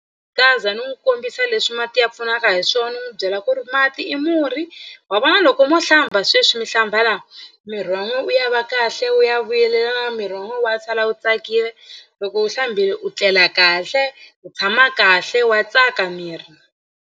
ni n'wi kombisa leswi mati ya pfunaka hi swona ni n'wi byela ku ri mati i murhi wa vona loko mo hlamba sweswi mi hlamba la miri wa n'wina wu ya va kahle wu ya vuyelelana miri wa n'wina wa sala wu tsakile loko u hlambile u tlela kahle u tshama kahle wa tsaka miri.